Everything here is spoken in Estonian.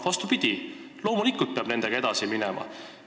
Vastupidi, loomulikult peab nendega edasi minema.